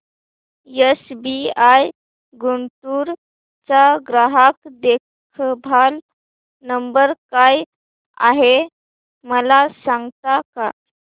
SBI Guntur चा ग्राहक देखभाल नंबर काय आहे मला सांगता का